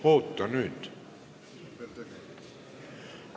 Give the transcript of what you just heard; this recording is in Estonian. Oota nüüd!